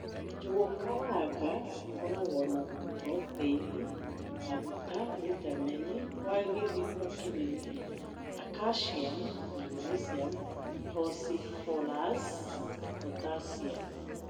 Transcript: Njũgukaranga cikoragwo na proteini. Maguta, vitameni kwa gĩthimo kĩnene na kaciamu , magneciamu ,fosforasi, potaciamu.